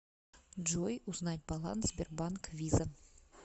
джой узнать баланс сбербанк виза